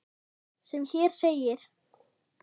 sem hér segir